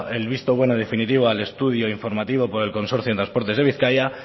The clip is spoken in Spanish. el visto bueno y definitivo al estudio informativo por el consorcio en transportes de bizkaia